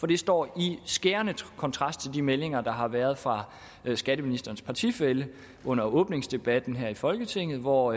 det står i skærende kontrast til de meldinger der har været fra skatteministerens partifælle under åbningsdebatten her i folketinget hvor